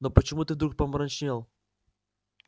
но почему ты вдруг помрачнел